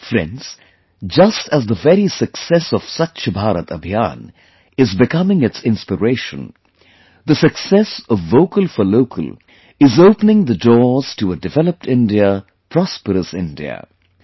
Friends, just as the very success of 'Swachh Bharat Abhiyan' is becoming its inspiration; the success of 'Vocal For Local' is opening the doors to a 'Developed India Prosperous India'